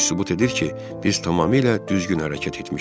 Bu sübut edir ki, biz tamamilə düzgün hərəkət etmişik.